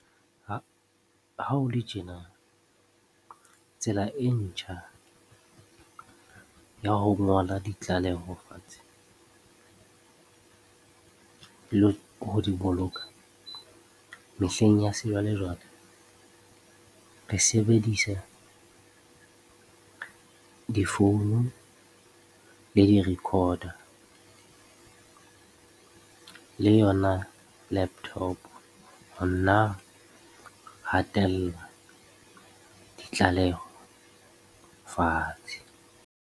Ha ho le tjena tsela e ntjha ya ho ngola ditlaleho fatshe le ho di boloka mehleng ya sejwalejwale re sebedisa difounu le di-recorder le yona laptop hatella ditlaleho fatshe.